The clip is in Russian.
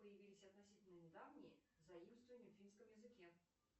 появились относительно недавние заимствования в финском языке